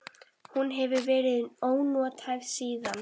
Hún hefur verið ónothæf síðan.